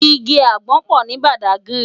Igi ágbòn pò ni Bàdágìrí